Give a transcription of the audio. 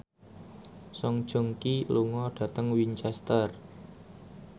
Song Joong Ki lunga dhateng Winchester